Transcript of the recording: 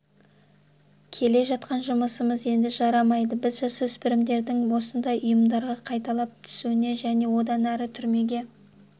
келе жатқан жұмысымыз енді жарамайды біз жасөспірімдердің осындай ұйымдарға қайталап түсуіне және одан әрі түрмеге